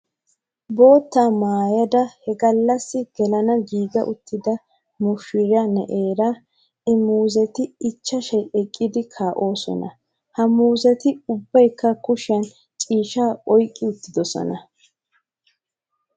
Boottaa maayyada he gallassi gelana giiga uttida mushiraa na'eera I muuzeti icchashayi eqqidi kaa'oosona. H muuzeti ubbayikka kushiyaan ciishshaa oyikki uttidosona.